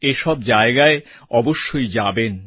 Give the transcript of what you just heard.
এ সব জায়গায় অবশ্যই যাবেন